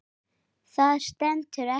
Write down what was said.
Það stenst ekki.